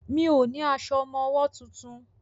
Mi ò ní aṣọ ọmọwọ́ tuntun.